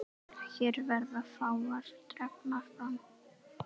Hér verða fáar dregnar fram.